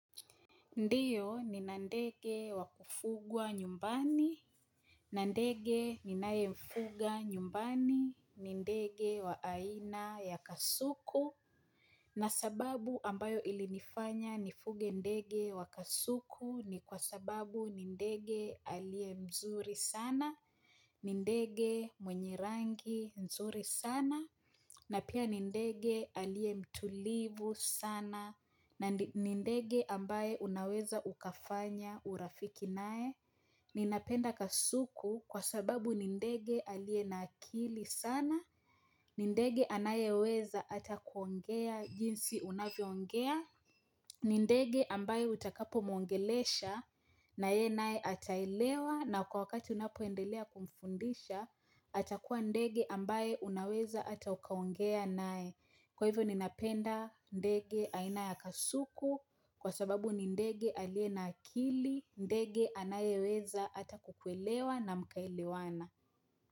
Ndiyo ni nandege wa kufugwa nyumbani, nandege ni naye mfuga nyumbani, ni ndege wa aina ya kasuku. Na sababu ambayo ilinifanya nifuge ndege wa kasuku ni kwa sababu ni ndege alie mzuri sana, ni ndege mwenye rangi mzuri sana, na pia nindege alie mtulivu sana na nindege ambaye unaweza ukafanya urafiki nae ninapenda kasuku kwa sababu nindege alie nakili sana nindege anaye weza atakuongea jinsi unavyoongea nindege ambaye utakapo mwongelesha na ye nae ataelewa na kwa wakati unapoendelea kumfundisha atakuwa ndege ambaye unaweza ata ukaongea nae Kwa hivyo ni napenda ndege aina ya kasuku Kwa sababu ni ndege alie na akili ndege anaye weza ata kukuelewa na mkaelewana.